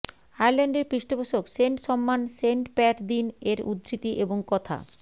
আয়ারল্যান্ডের পৃষ্ঠপোষক সেন্ট সম্মান সেন্ট প্যাট দিন এর উদ্ধৃতি এবং কথা